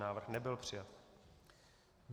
Návrh nebyl přijat.